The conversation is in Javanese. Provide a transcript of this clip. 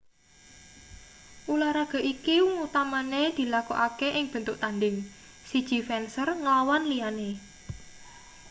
ulahraga iki utamane dilakokake ing bentuk tandhing siji fencer nglawan liyane